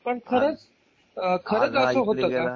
पण खरंच खरंच असं होतं का?